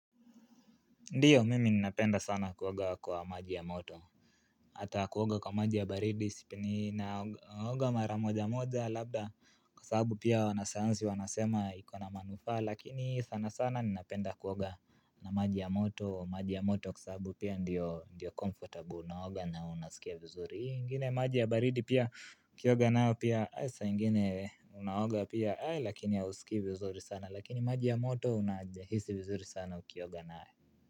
Ndiyo mimi ninapenda sana kuoga kwa maji ya moto ata kuoga kwa maji ya baridi sipe ninaoga mara moja moja labda kwa sababu pia wanasayansi wanasema iko na manufaa lakini sana sana ninapenda kuoga na maji ya moto maji ya moto kwa sababu pia ndiyo ndiyo comfortable unaoga na unasikia vizuri hii ingine maji ya baridi pia ukioga nayo pia saa ingine unaoga pia ae lakini hausikii vizuri sana lakini maji ya moto unahisi vizuri sana ukioga nayo.